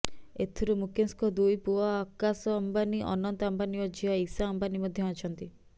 ଏଥିରେ ମୁକେଶଙ୍କ ଦୁଇ ପୁଅ ଆକାଶ ଅମ୍ବାନୀ ଅନନ୍ତ ଅମ୍ବାନୀ ଓ ଝିଅ ଇଶା ଅମ୍ବାନୀ ମଧ୍ୟ ଅଛନ୍ତି